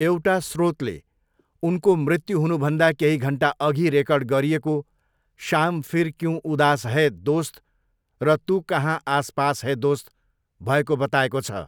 एउटा स्रोतले उनको मृत्यु हुनुभन्दा केही घन्टा अघि रेकर्ड गरिएको 'शाम फिर क्यूँ उदास है दोस्त र तू कहाँ आस पास है दोस्त' भएको बताएको छ।